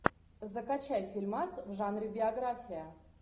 закачай фильмас в жанре биография